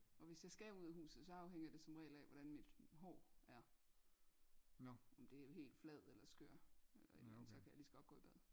Og hvis jeg skal ud af huset så afhænger det som regel af hvordan mit hår er om det er helt flad eller skør eller et eller andet så kan jeg lige så godt gå i bad